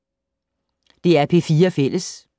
DR P4 Fælles